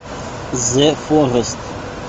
зэ форест